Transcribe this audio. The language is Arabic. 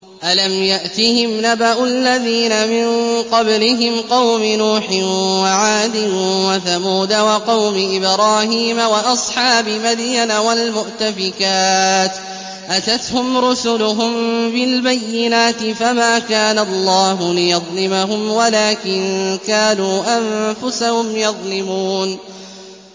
أَلَمْ يَأْتِهِمْ نَبَأُ الَّذِينَ مِن قَبْلِهِمْ قَوْمِ نُوحٍ وَعَادٍ وَثَمُودَ وَقَوْمِ إِبْرَاهِيمَ وَأَصْحَابِ مَدْيَنَ وَالْمُؤْتَفِكَاتِ ۚ أَتَتْهُمْ رُسُلُهُم بِالْبَيِّنَاتِ ۖ فَمَا كَانَ اللَّهُ لِيَظْلِمَهُمْ وَلَٰكِن كَانُوا أَنفُسَهُمْ يَظْلِمُونَ